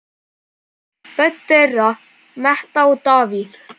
Börn þeirra Metta og Davíð.